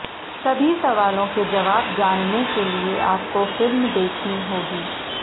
सभी सवालों के जवाब जानने के लिए आपको फिल्म देखनी होगी